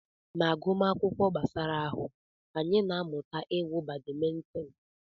Na agụmakwụkwọ gbasara ahụ, anyị na-amụta iwu badimintin.